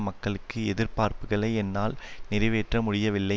மக்களுக்கு எதிர்பார்ப்புக்களை என்னால் நிறைவேற்ற முடியவில்லை